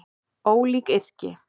Ólík yrki